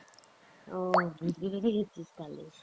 ও, তালে